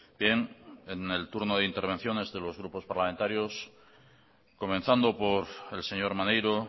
bien en el turno de intervenciones de los grupos parlamentarios comenzando por el señor maneiro